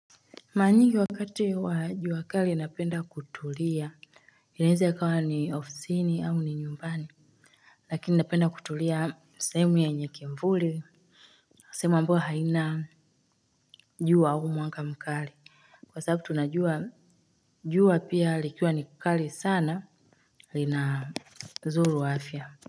Mara nyingi wakati wa jua kali napenda kutulia inaeza ikawa ni ofsini au ni nyumbani lakini napenda kutulia sehemu yenye kivuli sehemu ambayo haina jua au mwanga mkali kwa sababu tunajua jua pia likiwa ni kali sana linadhuru afya.